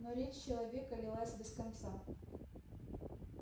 но речь человека лилась без конца